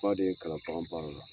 de ye n kalan bagan baara la.